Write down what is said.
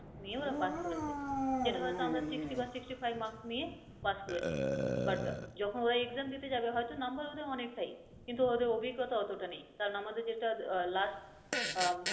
নিয়ে ওরা pass করেছে। যেটা হয়তো আমরা sixty বা sixty five mark নিয়ে pass করেছি but যখন ওরা exam দিতে যাবে হয়তো number ওদের অনেক টাই কিন্তু ওদের অভিজ্ঞতা অতোটা নেই। কারন আমাদের যেটা last আহ